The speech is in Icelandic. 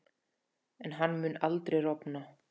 En hann mun aldrei rofna.